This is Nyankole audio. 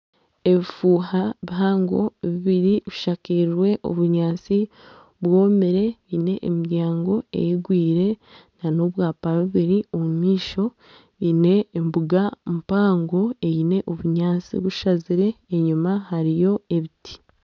Obufuuha buhago bubiri bushakirwe obunyaatsi bwomire bwine emiryango eigwire na n'obwaapa bubiri omumaisho bwine embuga mpango eine obunyaatsi obushazire enyuma hariyo ebiti.